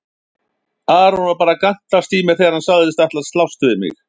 Aron var bara að gantast í mér þegar hann sagðist ætla að slást við mig.